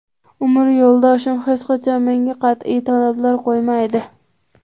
Umr yo‘ldoshim hech qachon menga qat’iy talablar qo‘ymaydi.